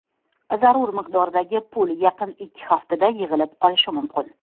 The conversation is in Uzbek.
Zarur miqdordagi pul yaqin ikki haftada yig‘ilib qolishi mumkin.